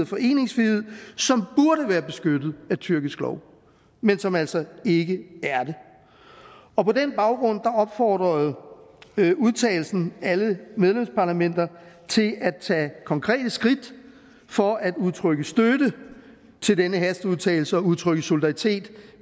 foreningsfrihed som burde være beskyttet af tyrkisk lov men som altså ikke er det og på den baggrund opfordrede man alle medlemsparlamenter til at tage konkrete skridt for at udtrykke støtte til denne hasteudtalelse og udtrykke solidaritet